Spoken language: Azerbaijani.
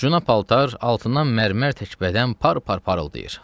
Cuna paltar altından mərmər təkbədən par par parıldayır.